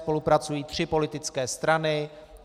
Spolupracují tři politické strany.